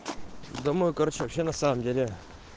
домой короче вообще на самом деле